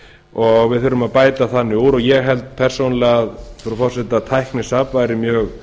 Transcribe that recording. og við þurfum að bæta úr því ég held persónulega frú forseti að tæknisafn væri mjög